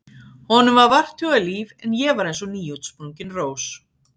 Honum var vart hugað líf en ég var eins og nýútsprungin rós.